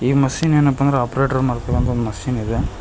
Machine ಏನಪ್ಪಾ ಅಂದ್ರೆ operator ಮಾಡ್ಕೊಳೋತ ಮಷೀನ್ ಇದೆ.